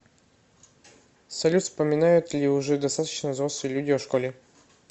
салют вспоминают ли уже достаточно взрослые люди о школе